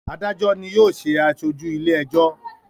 Adajọ ni yóò ṣe aṣoju ile-ẹjọ.